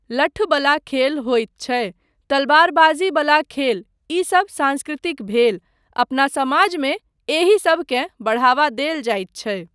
लठ्ठ बला खेल होइत छै, तलवारबाजी बला खेल, ईसब सांस्कृतिक भेल, अपना समाजमे एहीसबकेँ बढ़ावा देल जाइत छै।